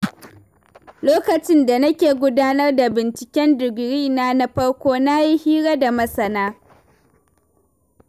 Lokacin da na ke gudanar da binciken digirina na farko, na yi hira da masana.